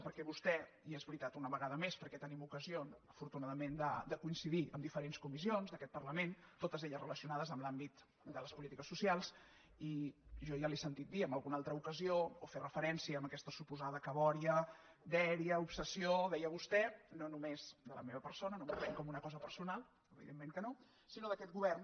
perquè a vostè i és veritat una vegada més perquè tenim ocasió afortunadament de coincidir en diferents comissions d’aquest parlament totes elles relacionades amb l’àmbit de les polítiques socials jo ja li he sentit dir en alguna altra ocasió o fer referència a aquesta suposada cabòria dèria obsessió deia vostè no només de la meva persona no m’ho prenc com una cosa personal evidentment que no sinó d’aquest govern